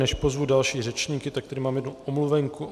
Než pozvu další řečníky, tak tady mám jednu omluvenku.